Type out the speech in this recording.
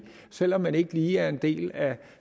selv om man ikke lige er en del af